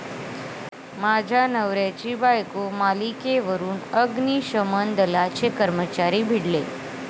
माझ्या नवऱ्याची बायको' मालिकेवरून अग्निशमन दलाचे कर्मचारी भिडले